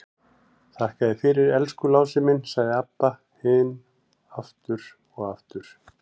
Þakka þér fyrir, elsku Lási minn, sagði Abba hin aftur og aftur.